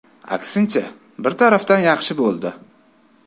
Aksincha, bir tarafdan yaxshi bo‘ldi.